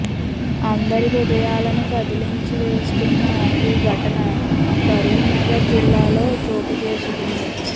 అందరి హృదయాలను కదిలించి వేస్తున్న ఈ ఘటన కరీంనగర్ జిల్లాలో చోటు చేసుకుంది